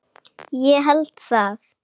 Ég held það?